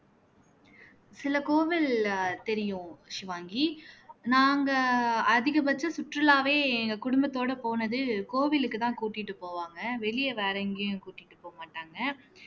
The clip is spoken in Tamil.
சில கோவில் அஹ் தெரியும் சிவாங்கி நாங்க அதிகபட்ச சுற்றுலாவே எங்க குடும்பத்தோட போனது கோவிலுக்கு தான் கூட்டிட்டு போவாங்க வெளிய வேற எங்கயும் கூட்டிட்டு போக மாட்டாங்க